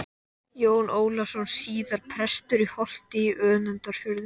Jón Ólafsson, síðar prestur í Holti í Önundarfirði.